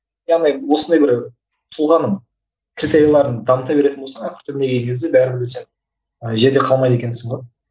яғни осындай бір тұлғаның критерияларын дамыта беретін болсаң ақыр түбіне келген кезде бәрібір де сен і жерде қалмайды екенсің ғой